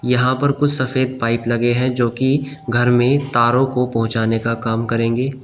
यहां पर कुछ सफेद पाइप लगे हैं जो कि घर में तारों को पहुंचाने का काम करेंगे।